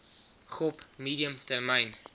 gop medium termyn